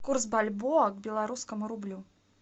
курс бальбоа к белорусскому рублю